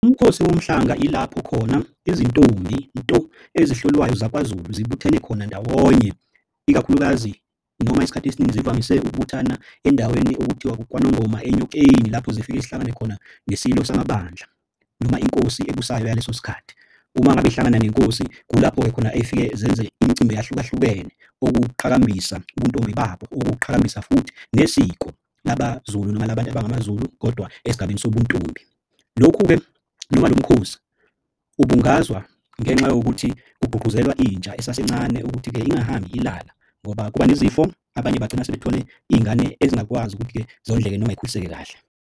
Umkhosi womhlanga ilapho khona izintombi nto ezihlolwayo zakwaZulu zibuthene khona ndawonye ikakhulukazi noma isikhathi esiningi zivamise ukubuthana endaweni okuthiwa kwaNongoma Enyokeni lapho zifike zihlangane khona neSilo Samabandla noma inkosi ebusayo yaleso sikhathi. Uma ngabe yihlangana nenkosi kulapho-ke khona efike zenze imicimbi eyahlukahlukene okuwuqhakambisa ubuntombi babo, ukuqhakambisa futhi nesiko laba Zulu noma labantu abangamaZulu kodwa esigabeni sobuntombi. Lokhu-ke noma lo mkhosi ubungazwa ngenxa yokuthi kugqugquzelwa intsha esasencane ukuthi-ke ingahambi ilala ngoba kuba nezifo. Abanye bagcina sebethole iy'ngane ezingakwazi ukuthi-ke zondleke noma yikhuliseke kahle.